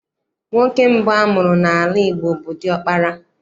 Nwoke mbụ amụrụ n'ala Igbo bụ diọkpara